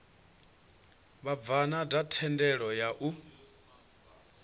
vhabvann ḓa thendelo ya u